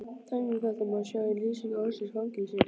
Dæmi um þetta má sjá í lýsingu orðsins fangelsi: